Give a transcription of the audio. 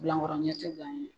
Bilankɔrɔ ɲɛ tɛ gan ye.